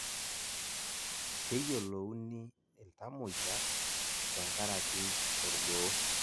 keyiolouni iltamoyiak te nkaraki olgoo